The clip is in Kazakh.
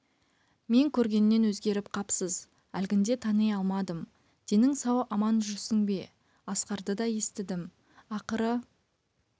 мен көргеннен өзгеріп қапсыз әлгінде тани алмадым денің сау аман жүрсің бе асқарды да естідім ақыры